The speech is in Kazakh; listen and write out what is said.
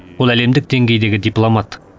ол әлемдік деңгейдегі дипломат